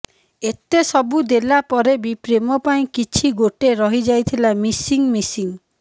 ଏତେ ସବୁ ଦେଲା ପରେ ବି ପ୍ରେମ ପାଇଁ କିଛି ଗୋଟେ ରହି ଯାଇଥିଲା ମିସିଂ ମିସିଂ